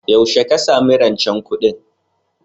Yaushe ka sami rancen kuɗin?